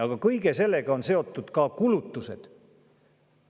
Aga kõige sellega on seotud ka kulutused.